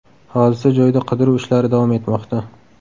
Hodisa joyida qidiruv ishlari davom etmoqda.